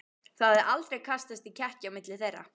Það hafði aldrei kastast í kekki á milli þeirra.